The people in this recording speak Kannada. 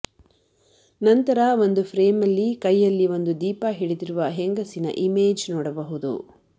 ನಂತರ ಒಂದು ಫ್ರೇಮಲ್ಲಿ ಕೈಯಲ್ಲಿ ಒಂದು ದೀಪ ಹಿಡಿದಿರುವ ಹೆಂಗಸಿನ ಇಮೇಜ್ ನೋಡಬವುದು